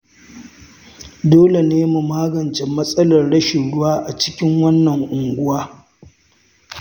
Dole ne mu magance matsalar rashin ruwa a cikin wannan unguwa.